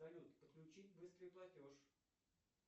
салют подключить быстрый платеж